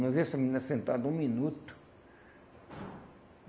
Não havia essa menina sentada um minuto.